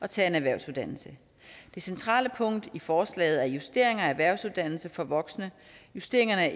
tage en erhvervsuddannelse det centrale punkt i forslaget er justeringer af erhvervsuddannelse for voksne justeringerne af